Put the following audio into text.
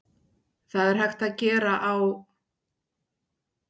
Það er hægt að gera á